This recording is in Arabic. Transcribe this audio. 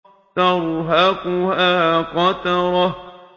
تَرْهَقُهَا قَتَرَةٌ